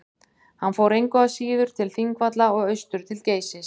hann fór engu að síður til þingvalla og austur til geysis